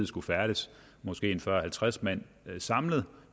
skulle færdes måske fyrre til halvtreds mand samlet